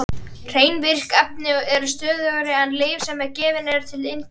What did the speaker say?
Hrein virk efni eru stöðugri en lyf sem gefin eru til inntöku.